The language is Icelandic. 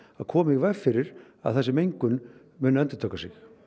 að koma í veg fyrir að þessi mengun muni endurtaka sig